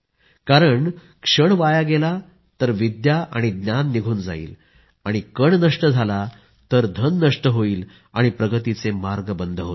कारण क्षण वाया गेला तर विद्या आणि ज्ञान निघून जाईल आणि कण नष्ट झाला तर धन नष्ट होईल आणि प्रगतीचे मार्ग बंद होतील